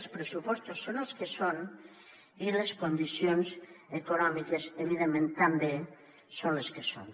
els pressupostos són els que són i les condicions econòmiques evidentment també són les que són